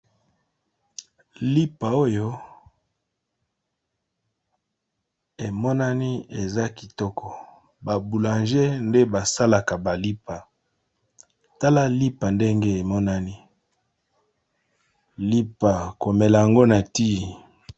Lipa oyo emonani eza kitoko baboulanger nde basalaka balipa tala lipa ndenge emonani lipa komela yango na ti.